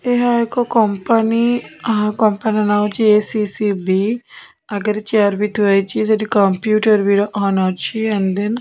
ଏହା ଏକ କମ୍ପାନୀ ଆହା କମ୍ପାନୀ ର ନାମ ହଉଛି ଏ_ସି_ସି_ବି ଆଗରେ ଚେୟାର ବି ଥୁଆ ହେଇଚି ସେଠି କମ୍ପୁଟର ବି ଅନ ଅଛି ଆଣ୍ଡ ଦେନ୍ --